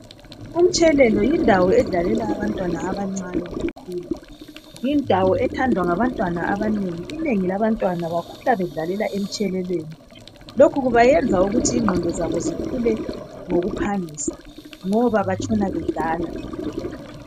Umtshelelo yindawo edlalela abantwana abancane bekhula, yindawo ethandwa ngabantwana abanengi. Inengi labantwana bakhula bedlalela emtshelweleni, lokhu kubayenza kuthi ingqondo zabo zikhule ngokuphangisa ngoba batshona bedlala.